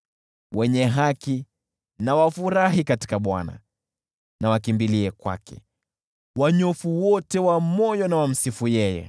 Wenye haki na wafurahi katika Bwana , na wakimbilie kwake; wanyofu wote wa moyo na wamsifu yeye!